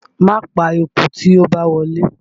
Máa pa eku tí ó bá wọlé!